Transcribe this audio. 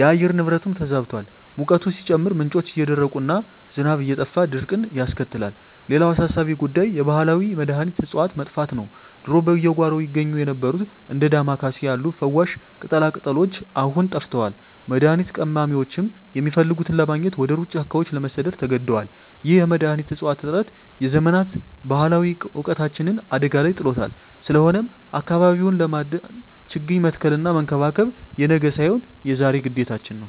የአየር ንብረቱም ተዛብቷል፤ ሙቀቱ ሲጨምር፣ ምንጮች እየደረቁና ዝናብ እየጠፋ ድርቅን ያስከትላል። ሌላው አሳሳቢ ጉዳይ የባህላዊ መድኃኒት እፅዋት መጥፋት ነው። ድሮ በየጓሮው ይገኙ የነበሩት እንደ ዳማ ኬሴ ያሉ ፈዋሽ ቅጠላቅጠሎች አሁን ጠፍተዋል፤ መድኃኒት ቀማሚዎችም የሚፈልጉትን ለማግኘት ወደ ሩቅ ጫካዎች ለመሰደድ ተገደዋል። ይህ የመድኃኒት እፅዋት እጥረት የዘመናት ባህላዊ እውቀታችንን አደጋ ላይ ጥሎታል። ስለሆነም አካባቢውን ለማዳን ችግኝ መትከልና መንከባከብ የነገ ሳይሆን የዛሬ ግዴታችን ነው።